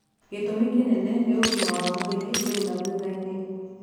Gĩtũmi kĩnene nĩ ũgima wa mwĩrĩ rĩu na thutha-inĩ